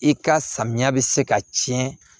I ka samiya bɛ se ka tiɲɛ